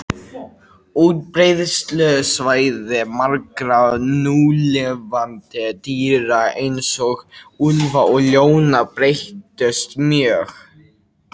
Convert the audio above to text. Útbreiðslusvæði margra núlifandi dýra, eins og úlfa og ljóna, breyttust mjög.